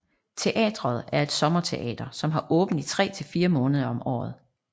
Teateret er et sommerteater som har åbent i tre til fire måneder om året